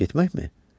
Getməkmi?